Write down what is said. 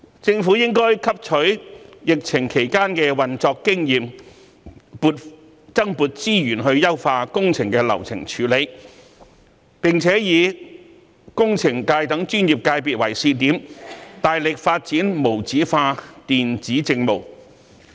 政府應汲取疫情期間的運作經驗，增撥資源優化工程的流程處理，並且以工程界等專業界別作為試點，大力發展無紙化電子政務。